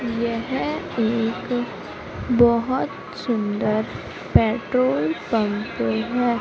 यह एक बहोत सुंदर पेट्रोल पंप है।